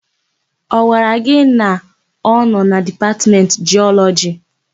Ọ gwara gị na ọ nọ na Dipatmentị Jiọlọjị?